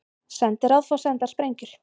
Sendiráð fá sendar sprengjur